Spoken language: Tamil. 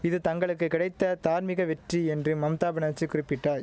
இது தங்களுக்கு கிடைத்த தார்மீக வெற்றி என்று மம்தா பனர்ஜி குறிப்பிட்டாய்